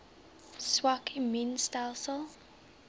swak immuun stelsels